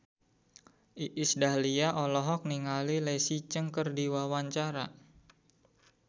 Iis Dahlia olohok ningali Leslie Cheung keur diwawancara